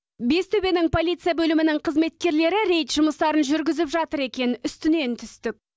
бестөбенің полиция бөлімінің қызметкерлері рейд жұмыстарын жүргізіп жатыр екен үстінен түстік